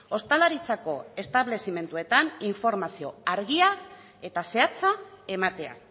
ostalaritzako establezimenduetan informazio argia eta zehatza ematea